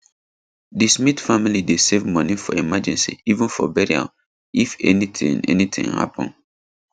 di smith family dey save money for emergency even for burial if anything anything happen